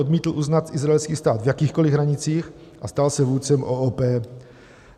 Odmítl uznat izraelský stát v jakýchkoli hranicích, a stal se vůdcem OOP.